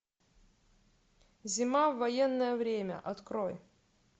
зима в военное время открой